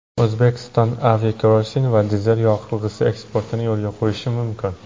O‘zbekiston aviakerosin va dizel yoqilg‘isi eksportini yo‘lga qo‘yishi mumkin.